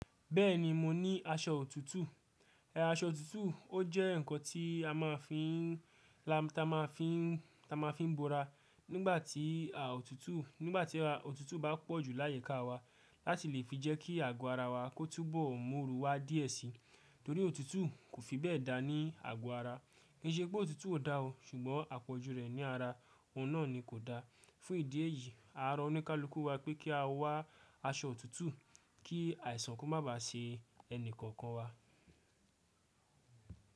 Bẹ́ẹ̀ni mo ní aṣọ òtútù. Aṣọ òtútù ó jẹ́ ǹkan tí a máa fi ń, ta máa fi ń, ta máa fi ń bora nígbà tí à òtútù, nígbà tí òtútù bá pọ̀ ju layi ká wa láti lè fi jẹ́kí àgọ́ ara wa kó túbọ̀ mu ooru wa díẹ̀ sí. Torí òtútù kò fi bẹ́ẹ̀ dá ní àgọ́ ara. Kì í ṣe pé òtútù ò dá o, ṣùgbọ́n àpọ̀jù rẹ̀ ní ara òun náà ni kò dá. Fún ìdí èyí, àárọ̀ oníkálukú wá pé kí a wá aṣọ òtútù kí àìsàn kó má bá ṣe ẹnì kokan wa.